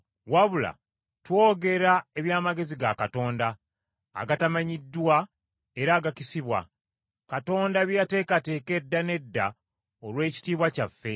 Wabula twogera eby’amagezi ga Katonda, agatamanyiddwa era agakisibwa, Katonda bye yateekateeka edda n’edda olw’ekitiibwa kyaffe;